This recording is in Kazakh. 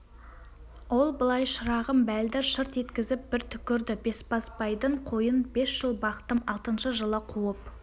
ол былай шырағым бәлдір шырт еткізіп бір түкірді бесбасбайдың қойын бес жыл бақтым алтыншы жылы қуып